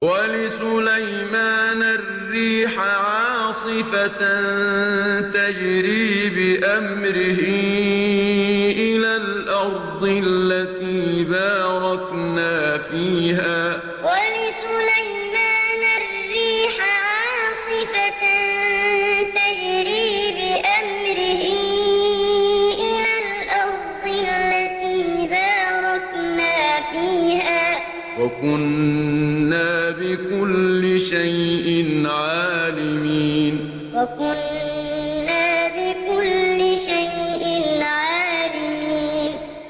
وَلِسُلَيْمَانَ الرِّيحَ عَاصِفَةً تَجْرِي بِأَمْرِهِ إِلَى الْأَرْضِ الَّتِي بَارَكْنَا فِيهَا ۚ وَكُنَّا بِكُلِّ شَيْءٍ عَالِمِينَ وَلِسُلَيْمَانَ الرِّيحَ عَاصِفَةً تَجْرِي بِأَمْرِهِ إِلَى الْأَرْضِ الَّتِي بَارَكْنَا فِيهَا ۚ وَكُنَّا بِكُلِّ شَيْءٍ عَالِمِينَ